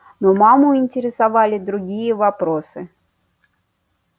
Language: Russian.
но маму интересовали другие вопросы